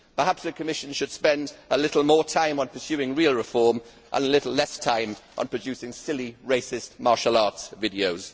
Perhaps the Commission should spend a little more time on pursing real reform and a little less time on producing silly, racist, martial arts videos.